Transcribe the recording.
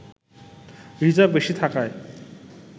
reserve বেশি থাকায়